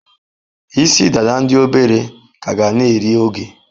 Isi-dada ndi obere ka ga na-eri oge.